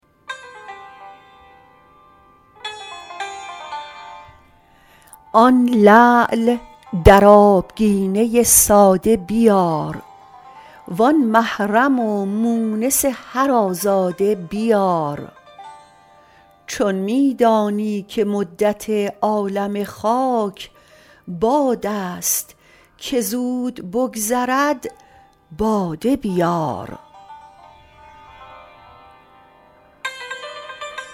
آن لعل در آبگینه ساده بیار وآن محرم و مونس هر آزاده بیار چون می دانی که مدت عالم خاک باد است که زود بگذرد باده بیار